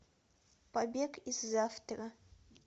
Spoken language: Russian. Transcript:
побег из завтра